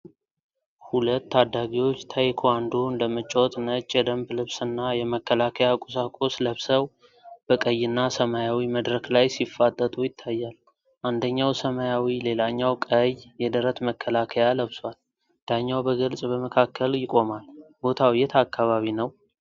ሁለት ታዳጊዎች ታይክዋንዶን ለመጫወት ነጭ የደንብ ልብስና የመከላከያ ቁሳቁስ ለብሰው፣ በቀይና ሰማያዊ መድረክ ላይ ሲፋጠጡ ይታያል። አንደኛው ሰማያዊ፣ ሌላኛው ቀይ የደረት መከላከያ ለብሷል፤ ዳኛው በግልጽ በመካከል ይቆማል። ቦታው የት አካባቢ ነው?